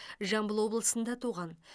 жамбыл облысында туған